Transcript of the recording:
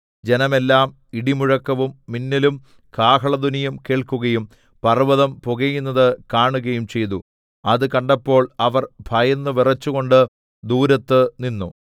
ജനം എല്ലാം ഇടിമുഴക്കവും മിന്നലും കാഹളധ്വനിയും കേൾക്കുകയും പർവ്വതം പുകയുന്നത് കാണുകയും ചെയ്തു അത് കണ്ടപ്പോൾ അവർ ഭയന്നു വിറച്ചുകൊണ്ട് ദൂരത്ത് നിന്നു